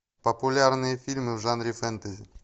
популярные фильмы в жанре фэнтези